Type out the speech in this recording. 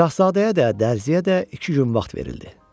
Şahzadəyə də, Dərziyə də iki gün vaxt verildi.